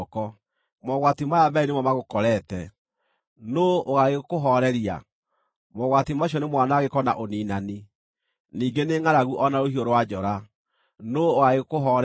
Mogwati maya meerĩ nĩmo magũkorete; nũũ ũgaagĩkũhooreria? Mogwati macio nĩ mwanangĩko na ũniinani, ningĩ nĩ ngʼaragu o na rũhiũ rwa njora; nũũ ũgaagĩkũhooreria?